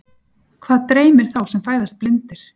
Hvað dreymir þá sem fæðast blindir?